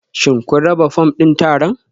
Shin kun raba fom ɗin taron?